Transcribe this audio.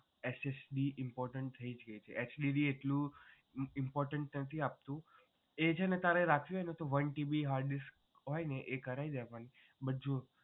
SSD important થઈ ગઈ છે HDD એટલું important નથી આપતું એ છે ને તારે રાખવી હોય તો one TB hard disk હોય ને એ કરાઇ દેવાની બધું.